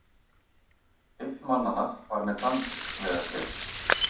Einn mannanna var með danskt vegabréf